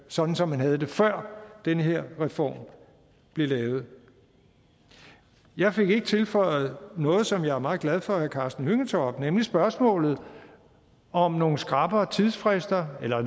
sådan som man havde det før den her reform blev lavet jeg fik ikke tilføjet noget som jeg var meget glad for at herre karsten hønge tog op nemlig spørgsmålet om nogle skrappere tidsfrister eller